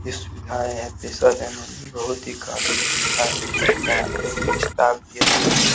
सुविधाएं हैं बहुत ही काफी सुविधा है एक यहाँ पे स्टाप भी है जो की --